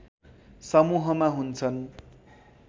समूहमा हुन्छन्